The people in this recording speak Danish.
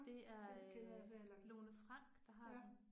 Det er øh Lone Frank, der har den